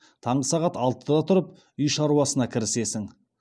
таңғы сағат алтыда тұрып үй шаруасына кірісесің